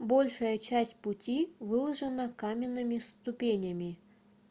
большая часть пути выложена каменными ступенями